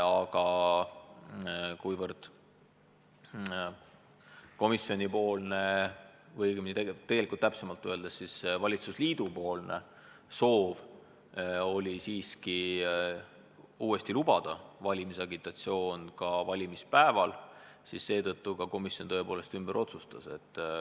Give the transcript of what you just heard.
Aga kuna komisjoni või täpsemalt öeldes valitsusliidu soov oli siiski valimisagitatsioon valimispäeval uuesti lubada, otsustas komisjon tõepoolest ümber.